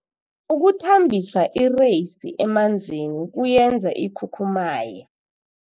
Ukuthambisa ireyisi emanzini kuyenza ikhukhumaye.